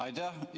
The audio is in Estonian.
Aitäh!